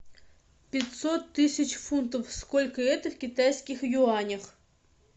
пятьсот тысяч фунтов сколько это в китайских юанях